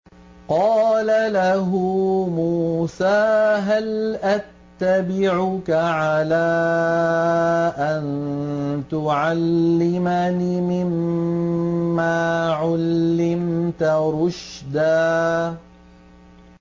قَالَ لَهُ مُوسَىٰ هَلْ أَتَّبِعُكَ عَلَىٰ أَن تُعَلِّمَنِ مِمَّا عُلِّمْتَ رُشْدًا